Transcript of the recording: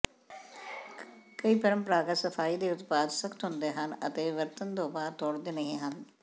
ਕਈ ਪਰੰਪਰਾਗਤ ਸਫਾਈ ਦੇ ਉਤਪਾਦ ਸਖ਼ਤ ਹੁੰਦੇ ਹਨ ਅਤੇ ਵਰਤਣ ਦੇ ਬਾਅਦ ਤੋੜਦੇ ਨਹੀਂ ਹਨ